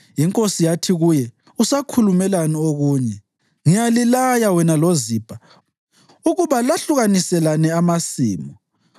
Inkosi yathi kuye, “Usakhulumelani okunye? Ngiyalilaya wena loZibha ukuba lahlukaniselane amasimu.”